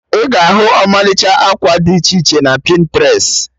Ị ga-ahu ọmalịcha akwa did iche iche na Pịntrest